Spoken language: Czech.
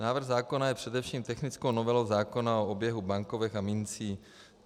Návrh zákona je především technickou novelou zákona o oběhu bankovek a mincí.